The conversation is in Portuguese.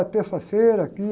É terça-feira aqui.